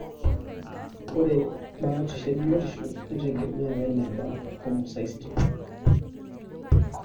Ore batisho ebiotisho neitegemea weneba homocysteine.